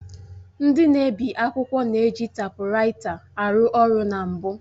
Ndị na-ebi akwụkwọ na-eji taịpuraịta arụ ọrụ na mbụ